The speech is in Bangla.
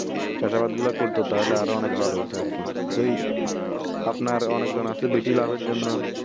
চাষাবাদ গুলো করতো তাহলে আরো অনেক ভালো হতো আরকি ওই আপনার অনেক জন আছে বেশি লাভ এর জন্য